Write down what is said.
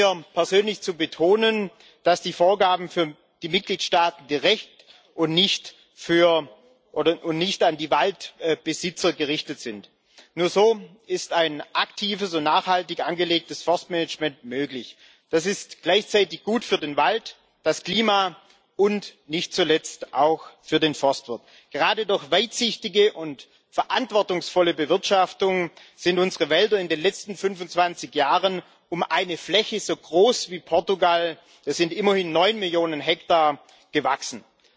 Wichtig ist mir persönlich zu betonen, dass die Vorgaben an die Mitgliedstaaten direkt und nicht an die Waldbesitzer gerichtet sind. Nur so ist ein aktives und nachhaltig angelegtes Forstmanagement möglich. Das ist gleichzeitig gut für den Wald, für das Klima und nicht zuletzt auch für den Forstwirt. Gerade durch weitsichtige und verantwortungsvolle Bewirtschaftung sind unsere Wälder in den letzten 25 Jahren um eine Fläche, die so groß ist wie Portugal das sind immerhin neun Millionen Hektar gewachsen.